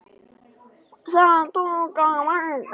Það tók á marga.